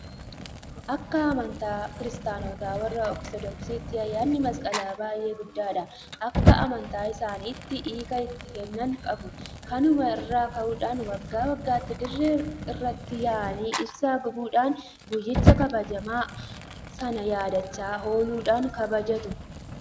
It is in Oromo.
Akka amantaa kiristaanota warra Ortodoksiitti ayyaanni masqalaa baay'ee guddaadha. Akka amantaa isaaniitti hiika itti kennan qabu. Kanuma irraa ka'uudhaan waggaa waggaatti dirree irratti yaa'anii ibsaa gubuudhaan guyyicha kabajamaa sana yaadachaa ooluudhaan kabajatu.